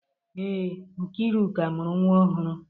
Ee, Nkeiruka mụrụ nwa ọhụrụ.